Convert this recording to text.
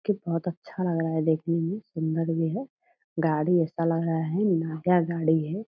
की बहुत अच्छा लग रहा है देखने में सुंदर भी है। गाड़ी ऐसा लग रहा है नया गाड़ी है।